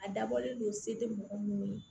A dabɔlen don se tɛ mɔgɔ minnu ye